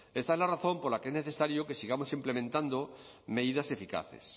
esta es la razón por la que es necesario que sigamos implementando medidas eficaces